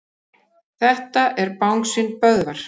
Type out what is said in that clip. Allt hefur gengið samkvæmt áætlun.